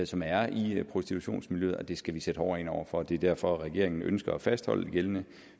som er i prostitutionsmiljøet og det skal vi sætte hårdere ind over for det er derfor regeringen ønsker at fastholde det gældende